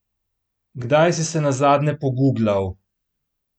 Kdaj si se nazadnje poguglal?